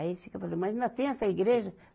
Aí eles fica falando, mas ainda tem essa igreja?